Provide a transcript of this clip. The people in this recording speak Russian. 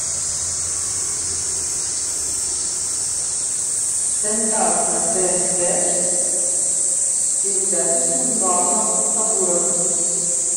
стендап на тнт передача с нурланом сабуровым